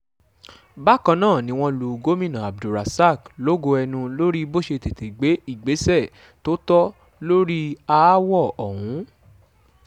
bákan náà ni wọ́n lu gomina abdulrasaq lógo ẹnu lórí bó ṣe tètè gbé ìgbésẹ̀ tó tọ́ lórí aáwọ̀ ọ̀hún